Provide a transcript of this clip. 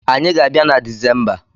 Anyị ga-abia na Desemba